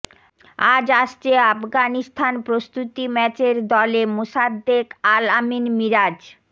আজ আসছে আফগানিস্তান প্রস্তুতি ম্যাচের দলে মোসাদ্দেক আল আমিন মিরাজ